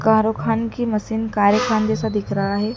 कारोखान की मशीन कारेखान जैसा दिख रहा है।